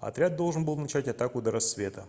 отряд должен был начать атаку до рассвета